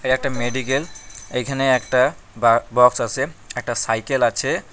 একটা মেডিকেল এইখানে একটা বা বক্স আসে একটা সাইকেল আছে।